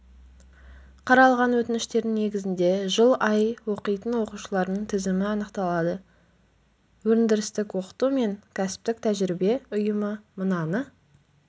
қаралған өтініштердің негізінде жыл ай оқитын оқушылардың тізімі анықталады өндірістік оқыту мен кәсіптік тәжірибе ұйымы мынаны